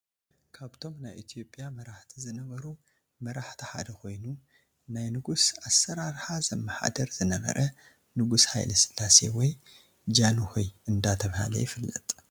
ካብቶም ናይ ኢትዮጵያ መራሕቲ ዝነበሩ መራሕቲ ሓደ ኮይኑ ናይ ንጉስ ኣሰራርሓ ዘመሓደር ዝነበረ ንጉስ ሃይለ ስላሴ ወይ ጃኑሆይ ዳተብሃለ ይፍለጥ።